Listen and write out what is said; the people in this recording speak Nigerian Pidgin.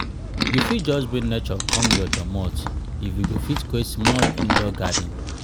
you fit just bring nature come your domot if you go fit create small indoor garden.